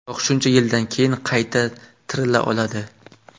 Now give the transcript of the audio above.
Biroq shuncha yildan keyin qayta ‘tirila’ oladi.